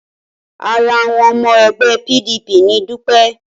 Ara awon omo egbe PDP ni Dupe